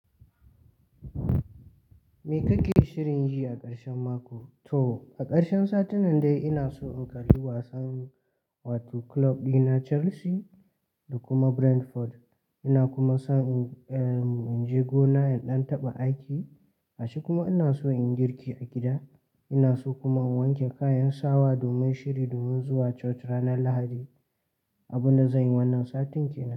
Me kake shirin yi a ƙarshen mako? To a ƙarshen satin nan dai ina so in kalli wasan, wato kulob ɗina Chelsea da kuma Brentford. Ina kuma so in, eh, in je gona in ɗan taɓa aiki. Gashi kuma ina so in yi girki a gida. Ina so kuma in wanke kayan sawa domin shiri domin zuwa Church ranar Lahadi. Abun da zan yi wannan satin ke nan.